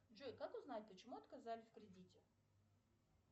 джой как узнать почему отказали в кредите